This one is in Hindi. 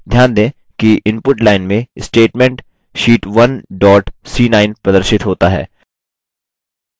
ध्यान दें कि input line में statement sheet 1 dot c9 प्रदर्शित होता है